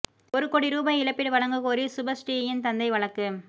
ஒரு கோடி ரூபாய் இழப்பீடு வழங்க கோரி சுபஸ்ரீயின் தந்தை வழக்கு